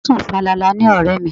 O sùn falala ni ọ̀rẹ́ mi.